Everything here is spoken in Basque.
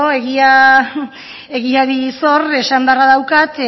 bueno egiari zor esan beharra daukat